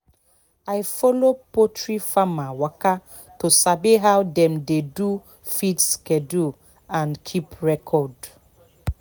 i follow poultry farmer waka to sabi how dem dey do feed schedule and keep records